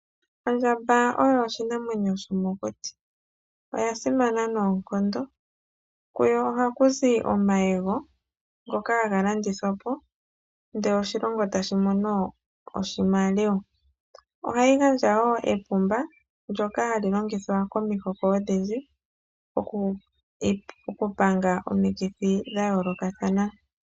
Ondjamba oyo oshinamwenyo shomokuti oya simana noonkondo. Kuyo ohaku zi omayego ngoka haga landithwa po, ndele oshilongo tashi mono oshimaliwa. Ohayi gandja wo epumba ndjoka hali longithwa ko mihoko odhindji, oku panga omikithi dha yoolokathana.